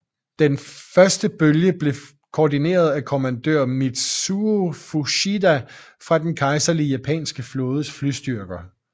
Den første bølge blev koordineret af kommandør Mitsuo Fuchida fra den kejserlige japanske flådes flystyrker